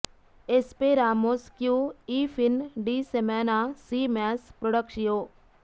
ಎಸ್ಪೆರಾಮೊಸ್ ಕ್ಯೂ ಈ ಫಿನ್ ಡಿ ಸೆಮಾನಾ ಸೀ ಮ್ಯಾಸ್ ಪ್ರೊಡಕ್ಷಿಯೋ